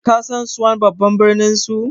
kasan suan babban birninsu